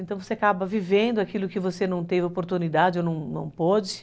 Então, você acaba vivendo aquilo que você não teve oportunidade ou não pode.